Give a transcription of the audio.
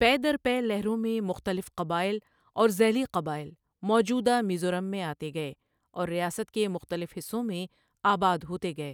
پے در پے لہروں میں مختلف قبائل اور ذیلی قبائل موجودہ میزورم میں آتے گئے اور ریاست کے مختلف حصوں میں آباد ہوتے گئے۔